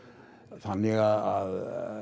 þannig að